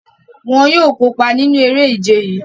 Wọn yóò kopa ninu ere-ije yii.